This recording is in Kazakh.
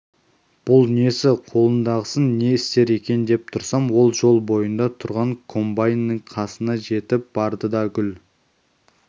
бұл несі қолындағысын не істер екен деп тұрсам ол жол бойында тұрған комбайнның қасына жетіп барды да гүл